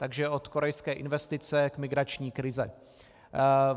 Takže od korejské investice k migrační krizi.